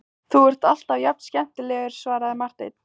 Þú ert alltaf jafn skemmtilegur, svaraði Marteinn.